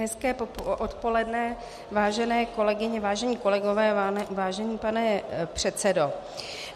Hezké odpoledne, vážené kolegyně, vážení kolegové, vážený pane předsedo.